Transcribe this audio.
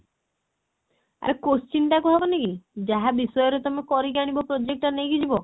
ଆରେ question ଟା କୁହା ହବନି କି ଯାହା ବିଷୟରେ ତମେ କରିକି ଆଣିବ project ଟା ନେଇକି ଯିବ